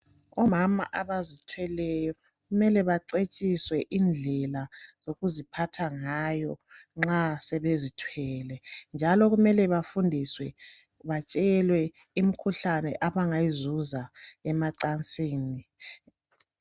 Omama abazithweleyo kumele bacetshiswe indlela yokuziphatha ngayo nxa sebezithwele njalo kumele bafundiswe batshelwe imikhuhlane abangayizuza emacansini.